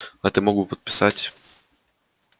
а ты мог бы подписать